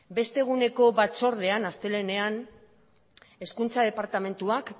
beste eguneko batzordean astelehenean hezkuntza departamentuak